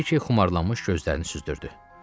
Brike xumarlanmış gözlərini süzdürdü.